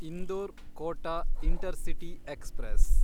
Indore Kota Intercity express